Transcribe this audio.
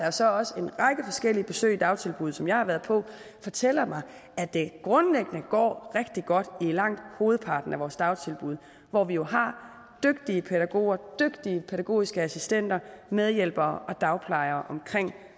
og så også en række forskellige besøg i dagtilbud som jeg har været på fortæller mig at det grundlæggende går rigtig godt i langt hovedparten af vores dagtilbud hvor vi jo har dygtige pædagoger dygtige pædagogiske assistenter medhjælpere og dagplejere omkring